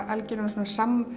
algjöran